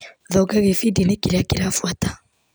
Thonga gĩbindi-inĩ kĩrĩa kĩrabuata.